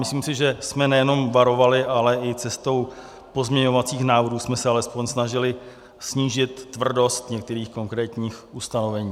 Myslím si, že jsme nejenom varovali, ale i cestou pozměňovacích návrhů jsme se alespoň snažili snížit tvrdost některých konkrétních ustanovení.